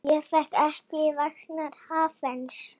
Ég veit ekki vegna hvers.